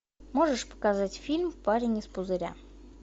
можешь показать фильм парень из пузыря